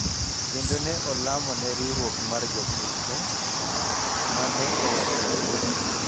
kendo ne olamo ne riwruok mar Jokristo, ma ne owacho ni,